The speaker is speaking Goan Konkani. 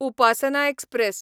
उपासना एक्सप्रॅस